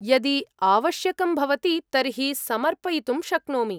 यदि आवश्यकं भवति तर्हि समर्पयितुं शक्नोमि।